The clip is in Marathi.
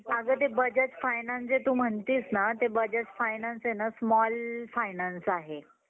अगं ते बजाज finance जे तू म्हणतीस ना ते बजाज finance हे ना small finance आहे.